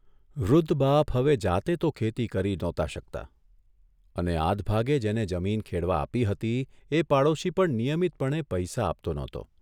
વૃદ્ધ બાપ હવે જાતે તો ખેતી કરી નહોતા શકતા અને આધભાગે જેને જમીન ખેડવા આપી હતી એ પાડોશી પણ નિયમિતપણે પૈસા આપતો નહોતો.